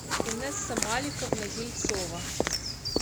инесса маликовна ельцова